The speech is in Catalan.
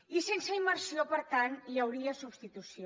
i sense immersió per tant hi hauria substitució